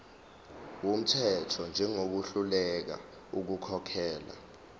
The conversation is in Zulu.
wumthetho njengohluleka ukukhokhela